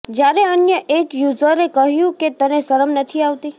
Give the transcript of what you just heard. જ્યારે અન્ય એક યૂઝરે કહ્યું કે તને શરમ નથી આવતી